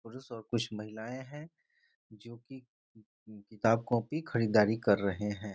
पुरुष और कुछ महिलाएँ हैं जो कि किताब-कॉपी खरीदारी कर रहें हैं।